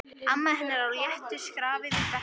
Amma hennar á léttu skrafi við Berta.